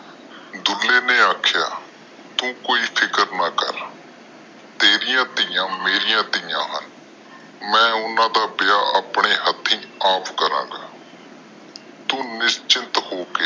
ਡੁਲ੍ਹੇ ਨੇ ਆਖਿਆ ਤੂੰ ਕੋਈ ਫਿਕਰ ਨਾ ਕਰ ਤੇਰੀਆਂ ਧਿਆ ਮੇਰੀਆਂ ਧਿਆ ਨੇ ਮੈਂ ਓਹਨਾ ਦਾ ਵਿਆਹ ਅਉਪਣੇ ਹਾਥੀ ਅੱਪਕਰਾ ਗਏ ਤੂੰ ਨਿਸ਼ਚਿੰਤ ਹੋ ਕੇ